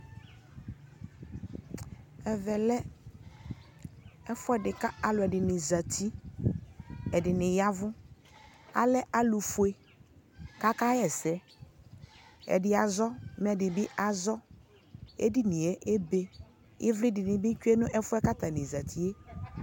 ɛvɛ lɛ ɛƒʋɛ ɛdini kʋ alʋɛ dini zati kʋ ɛdini yavʋ, alɛ alʋ fʋɛ kʋ akɛ yɛsɛ, ɛdini azɔ mɛ ɛdini bi azɔ, ɛdini ɛbɛ, ivli dini bi twɛ ɛƒʋɛ kʋ atani zatiɛ